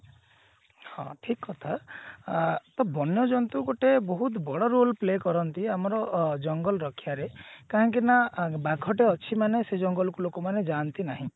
ହଁ ଠିକ କଥା ଅ ତ ବନ୍ୟ ଜନ୍ତୁ ଗୋଟେ ବହୁତ ବଡ role play କରନ୍ତି ଆମର ଜଙ୍ଗଲ ରକ୍ଷାରେ କାହିଁକି ନା ବାଘଟେ ଅଛି ମାନେ ସେ ଜଙ୍ଗଲକୁ ଲୋକମାନେ ଯାଆନ୍ତି ନାହିଁ